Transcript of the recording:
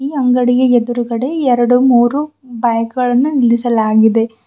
ಈ ಅಂಗಡಿಯ ಎದುರುಗಡೆ ಎರಡು ಮೂರು ಬೈಕ್ ಗಳನ್ನು ನಿಲ್ಲಿಸಲಾಗಿದೆ.